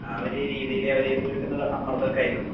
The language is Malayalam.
ആ ഒര് രീതീല് അവര് വീട്ട്ന്നുള്ള സമ്മർദ്ദോക്കെ ആയിരിക്കും.